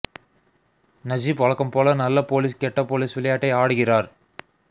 Najib வழக்கம் போல நல்ல போலீஸ் கெட்ட போலீஸ் விளையாட்டை ஆடுகிறார்